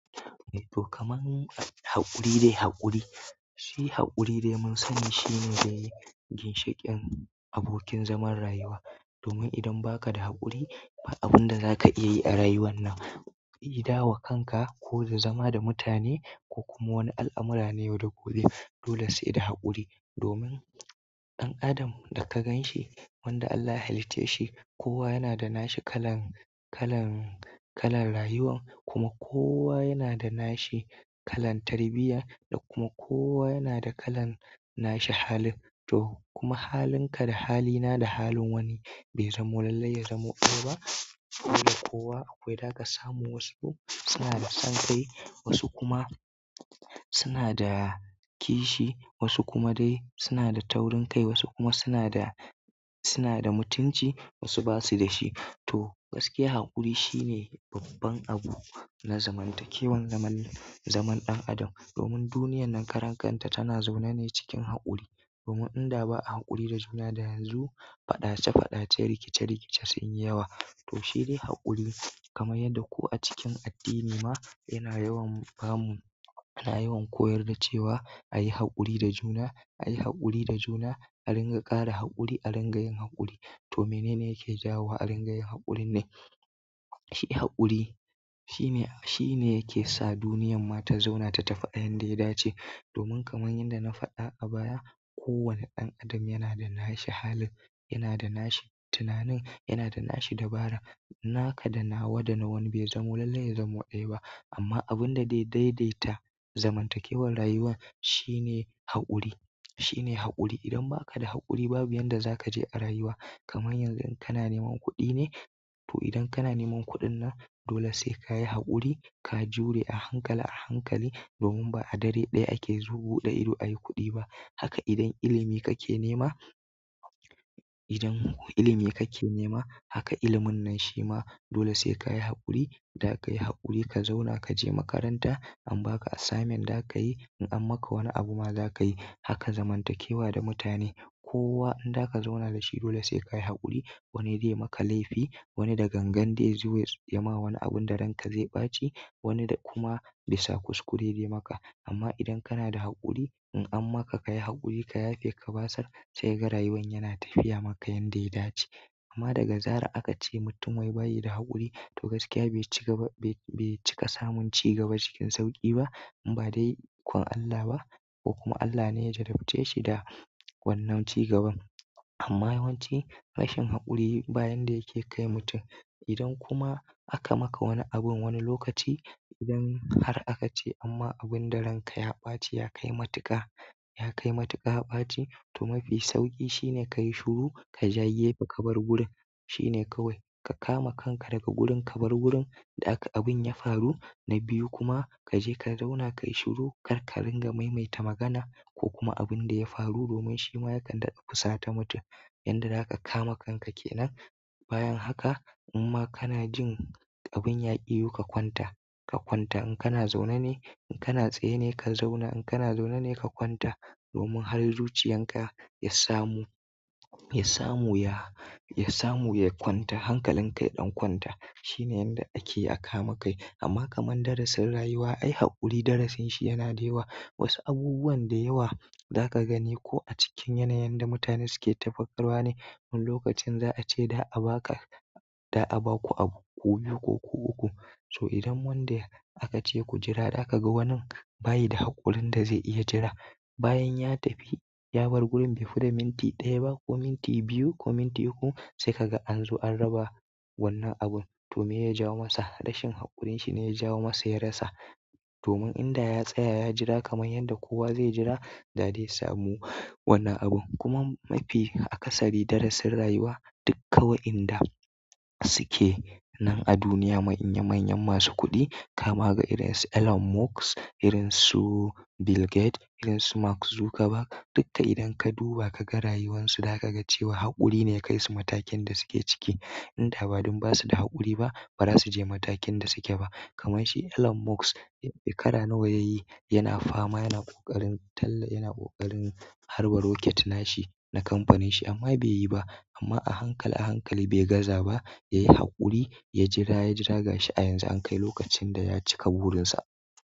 To, kamar haƙuri dai haƙuri. Shi haƙuri dai mun sani shine dai ginshiƙin abokin zaman rayuwa. Domin idan baka da haƙuri ba abinda zaka iya yi a rayuwar nan, either wa kanka ko da zama da mutane ko kuma wani al'amura na yau da gobe dole saida haƙuri domin ɗan adam da ka gan shi, wanda Allah ya halicce shi, kowa yana da nashi kalan, kalan, kalan rayuwa kuma kowa yana da nashi kalan tarbiyya da kuma kowa yana da kalan nashi halin. To kuma halinka da halina da halin wani bai zamo lallai ya zamo ɗaya ba. Dole kowa akwai zaka samu wasu suna da son kai, wasu kuma suna da kishi, wasu kuma dai suna taurin kai, wasu kuma sunada, sunada mutunci wasu basu da shi to gaskiya haƙuri shine babban abu na zamantakewan zaman, zaman ɗan adam. Domin duniyar nan karan kanta tana zaune ne cikin haƙuri domin inda ba'a haƙuri da juna da yanzu, faɗace-faɗace, rikice-rikice sun yi yawa. To shi dai haƙuri kamar yadda ko a cikin addini ma yana yawan bamu, ana yawan koyar da cewa ayi haƙuri da juna, ayi haƙuri da juna, a ringa ƙara haƙuri, a ringa yin haƙuri. To menene yake jawo a ringa yin haƙuri ne? Shi haƙuri shine, shine yake sa duniyyar ma ta zauna ta tafi a yanda ya dace. Domin kamar yadda na faɗa a baya, kowane ɗan adam yana da nashi halin, yana da nashi tunanin, yana da nashi dabara. Naka da nawa da nawani bai zamo lallai ya zamo ɗaya ba. Amma abinda zai dai-dai ta zamantakewar rayuwa shine haƙuri, shine haƙuri idan baka da haƙuri babu inda zaka je a rayuwa kamar yanzu in kana neman kuɗi ne, to idan kana neman kuɗin nan, dole sai ka yi haƙuri, ka jure a hankali a hankali. Domin ba a dare ɗaya ake zu ɓuɗe ido ayi kuɗi ba. Haka idan ilimi kake nema, idan ilimi kake nema, haka ilimin nan shi ma dole sai ka yi haƙuri. Za kayi haƙuri ka zauna ka je makaranta an baka assignment zakayi in an maka wani abu ma zaka yi. Haka zamantakewa da mutane. Kowa in za ka zauna da shi dole sai ka yi haƙuri. Wani zai maka laifi, wani da gangan zai zo yama wani abinda ranka zai ɓaci, wani da kuma bisa kuskure zai maka. Amma idan kana da haƙuri, in an maka kayi haƙuri ka yafe ka basar sai kaga rayuwan yana tafiya maka yanda ya dace. Amma daga zarar akace mutum wai bayi da haƙuri, to gaskiya bai cigaba, bai cika samun cigaba cikin sauƙi ba. In ba dai ikon Allah ba ko kuma Allah ne ya jarabce shi da wannan cigaban. Amma yawanci rashin haƙuri bayan da yake kai mutum. Idan kuma aka maka wani abin wani lokaci, idan har aka ce an ma abinda ranka ya ɓaci ya kai matuƙa, ya kai matuƙa ɓaci, to mafi sauƙi shine kayi shiru kaja gefe kabar gurin. Shine kawai ka kama kanka daga gurin ka bar gurin da aka abun ya faru. Na biyu kuma ka je ka zauna ka yi shiru kar ka ringa maimaita magana ko kuma abinda ya faru domin shima yakan daɗa fusata mutum. Yanda zaka kama kanka kenan. Bayan haka in ma kana jin abun ya ƙi yiwo, ka kwanta. Ka kwanta in kana zaune ne, in kana tsaye ne ka zauna, in kana zaune ne ka kwanta. Domin har zuciyan ka ya samu, ya samu ya, ya samu ya kwanta. Hankalinka ya ɗan kwanta shine yanda ake akama kai. Amma kaman darasin rayuwa, ai haƙuri darasin shi yana da yawa. Wasu abubuwan da yawa zaka gani ko acikin yanayin da mutane suke ta faɗakarwa ne. Wani lokacin za'ace za'a baka, za'a baku abu ku biyu ko ku ukku. So idan wanda akace ku jira zakaga wanin baya da haƙurin da zai iya jira, bayan ya tafi ya bar gurin bai fi da minti ɗaya ba ko minti biyu ko minti uku sai kaga anzo an raba wannan abun. To miye ya jawo masa rashin haƙurinshi ne ya jawo masa ya rasa. Domin in da ya tsaya ya jira kamar yadda kowa zai jira, da zai samu wannan abun. Kuma mafi akasari darasin rayuwa duk kawai inda suke nan a duniya manyan-manyan masu kuɗi kama ga irin su Elon Musk, irin su Bill Gates, irin su Mark Zuckerberg dukka idan ka duba kaga rayuwansu zakaga cewa haƙuri ne ya kaisu matakin da suke ciki. Inda ba don basu da haƙuri ba, ba zasu je matakin da suke ba. Kamar shi Elon Musk shekara nawa ya yi yana fama yana ƙoƙarin talla, yana ƙoƙarin harba rocket nashi na kamfanin shi amma bai yi ba. Amma a hankali a hankali bai gaza ba ya yi haƙuri ya jira ya jira ga shi a yanzu an kai lokacin da ya cika burinsa.